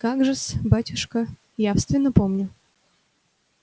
как же-с батюшка явственно помню